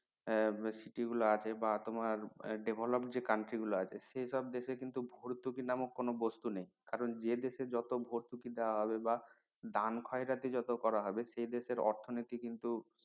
city গুলো আছে বা তোমার develop যে country গুলো আছে সেসব দেশে কিন্তু ভর্তুকি নামক কোনো বস্তু নেই কারন যে দেশে জট ভর্তুকি দেওয়া হবে বা দেন খয়রাতি জট করা হবে সেদেশের অর্থনীতি কিন্তু